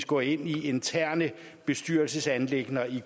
gå ind i interne bestyrelsesanliggender i